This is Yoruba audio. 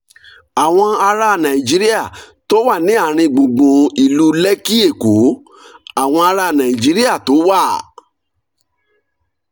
àwọn ará nàìjíríà tó wà ní àárín gbùngbùn ìlú lekki èkó: àwọn ará nàìjíríà tó wà